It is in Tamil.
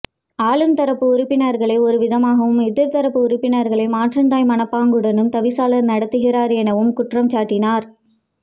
ஆளும்தரப்பு உறுப்பினர்களை ஒரு விதமாகவும் எதிர்தரப்பு உறுப்பினர்களை மாற்றாந்தாய் மனப்பாங்குடனும் தவிசாளர் நடத்துகின்றார் எனவும் குற்றம் சாட்டினர்